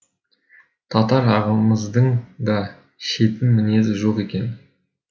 татар ағамыздың да шетін мінезі жоқ екен